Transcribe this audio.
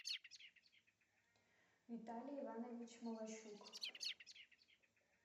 виталий иванович молощук